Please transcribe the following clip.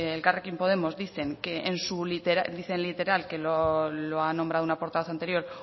elkarrekin podemos dicen literal que lo ha nombrado una portavoz anterior